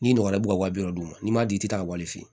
N'i ɲɔgɔnna bɛ ka wa bi wɔɔrɔ d'u ma n'i m'a dun i tɛ taa wari fɛ